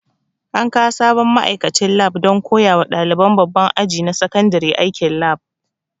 An kawo sabon ma'aikacin lab don koya wa ɗaliban babban aji na sakandare aikin lab